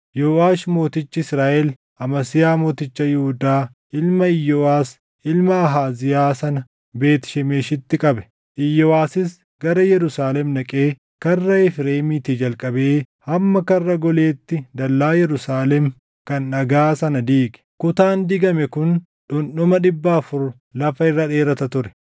Yooʼaash mootichi Israaʼel, Amasiyaa mooticha Yihuudaa ilma Iyooʼas ilma Ahaaziyaa sana Beet Shemeshitti qabe. Iyooʼasis gara Yerusaalem dhaqee Karra Efreemiitii jalqabee hamma Karra Goleetti dallaa Yerusaalem kan dhagaa sana diige; kutaan diigame kun dhundhuma dhibba afur lafa irra dheerata ture.